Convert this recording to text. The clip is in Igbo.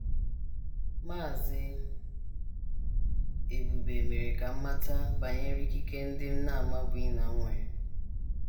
“ Maazị Ebube mere ka m mata banyere ikike ndị m na - amabughị na m nwere.